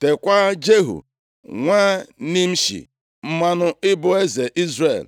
Teekwa Jehu, nwa Nimshi mmanụ ịbụ eze Izrel.